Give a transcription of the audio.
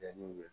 Yanni